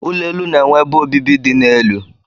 Ụlọ elu na-enwe ebe obibi dị n'elu.